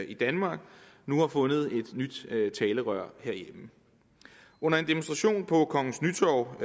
i danmark nu har fundet et nyt talerør herhjemme under en demonstration på kongens nytorv